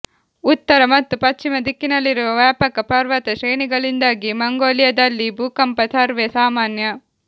ಉತ್ತರ ಮತ್ತು ಪಶ್ಚಿಮ ದಿಕ್ಕಿನಲ್ಲಿರುವ ವ್ಯಾಪಕ ಪರ್ವತ ಶ್ರೇಣಿಗಳಿಂದಾಗಿ ಮಂಗೋಲಿಯಾದಲ್ಲಿ ಭೂಕಂಪ ಸರ್ವೇ ಸಾಮಾನ್ಯ